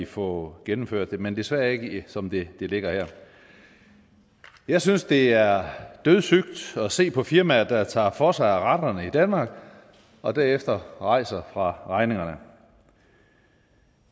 få gennemført det men desværre ikke som det ligger her jeg synes det er dødssygt at se på firmaer der tager for sig af retterne i danmark og derefter rejser fra regningerne